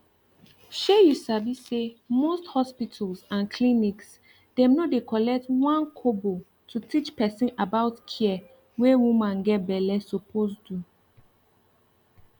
shey u sabi say most hospitals and clinics dem no dey collect 1kobo to teach person about care wey woman get belle suppose do